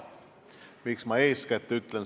Miks ma "eeskätt" ütlen?